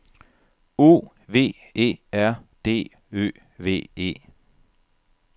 O V E R D Ø V E